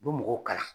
U bɛ mɔgɔw kalan